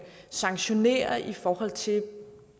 sanktioneres i forhold til